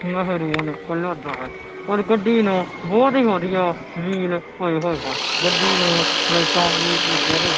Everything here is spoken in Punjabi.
ਮਹਿਰੂਨ ਕਲਰ ਦਾ ਹੈ ਔਰ ਗੱਡੀ ਨੂੰ ਬਹੁਤ ਹੀ ਵਧੀਆ ਵੀਲ ਪਾਏ ਹੋਏ ਹਨ ਗੱਡੀ ਨੂੰ ਲਾਈਟਾਂ ਵੀ ਲੱਗੀਆਂ ਹੋਈਆਂ--